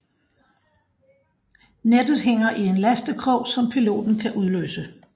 Nettet hænger i en lastekrog som piloten kan udløse